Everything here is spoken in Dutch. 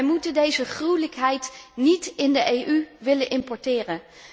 Wij moeten deze gruwelijkheid niet in de EU willen importeren.